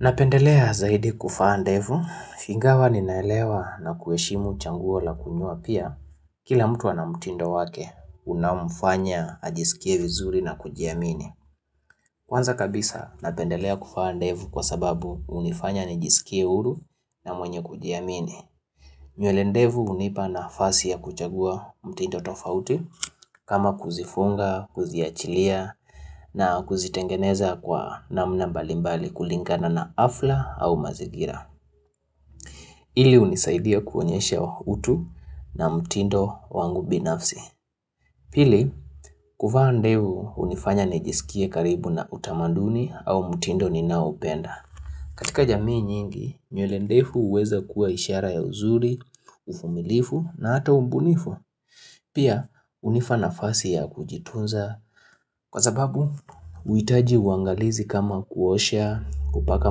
Napendelea zaidi kuvaa ndefu, ingawa ninaelewa na kuheshimu chaguo la kununua pia, kila mtu ana mtindo wake unaomfanya ajisikie vizuri na kujiamini. Kwanza kabisa napendelea kuvaa ndevu, kwa sababu hunifanya nijisikie huru na mwenye kujiamini. Nywele ndefu hunipa nafasi ya kuchagua mtindo tofauti kama kuzifunga, kuziachilia na kuzitengeneza kwa namna mbalimbali kulingana na hafla au mazingira. Ili hunisaidia kuonyesha utu na mtindo wangu binafsi. Pili, kuva ndefu hunifanya nijisikie karibu na utamanduni au mtindo ninaoupenda. Katika jamii nyingi, nywele ndefu huweza kuwa ishara ya uzuri, uvumilifu na hata ubunifu. Pia hunipa nafasi ya kujitunza. Kwa sababu, uhitaji uangalizi kama kuosha, kupaka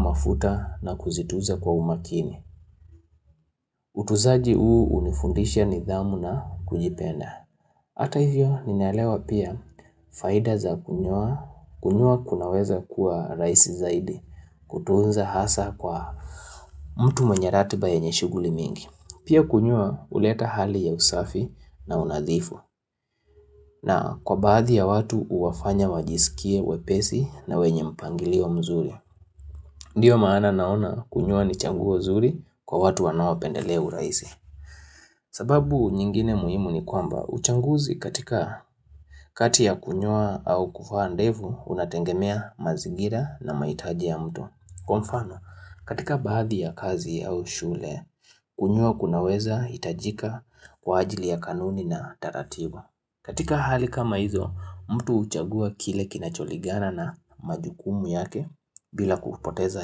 mafuta na kuzitunza kwa umakini. Utunzaji huu hunifundisha nidhamu na kujipenda Hata hivyo ninaelewa pia faida za kunyoa, kunyoa kunaweza kuwa rahisi zaidi kutunza hasaa kwa mtu mwenye ratiba yenye shughuli mingi, pia kunyoa huleta hali ya usafi na unadhifu, na kwa baadhi ya watu huwafanya wajisikie wepesi na wenye mpangilio mzuri Ndiyo maana naona kunyoa ni chaguo nzuri kwa watu wanao pendelea urahisi sababu nyingine muhimu ni kwamba, uchaguzi katika kati ya kunyoa au kuvaa ndefu, unategemea mazigira na mahitaji ya mtu. Kwa mfano, katika baadhi ya kazi au shule, kunyoa kunaweza hitajika kwa ajili ya kanuni na taratibu. Katika hali kama hizo, mtu huchagua kile kinacholingana na majukumu yake bila kupoteza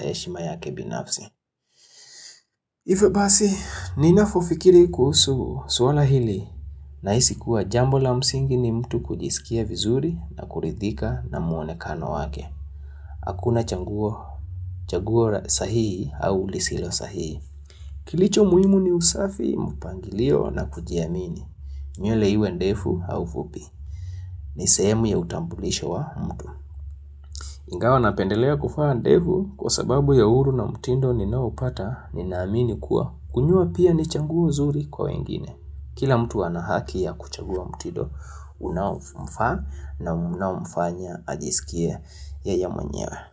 heshima yake binafsi. Hivyo basi, ninapofikiri kuhusu swala hili, nahisi kuwa jambo la msingi ni mtu kujisikia vizuri na kuridhika na muonekano wake. Hakuna chaguo, chaguo sahihi au lisilo sahihi. Kilicho muhimu ni usafi, mpangilio na kujiamini. Nywele iwe ndefu au fupi. Ni sehemu ya utambulisho wa mtu. Ingawa napendelea kuvaaa ndefu kwa sababu ya uhuru na mtindo ninaoupata ninaamini kuwa. Kunyoa pia ni chaguo zuri kwa wengine, kila mtu anahaki ya kuchagua mtindo Unaomfaa na unaomfanya ajisikie yeye mwenyewe.